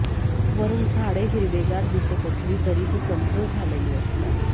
वरून झाडे हिरवेगार दिसत असली तरी ती कमजोर झालेली असतात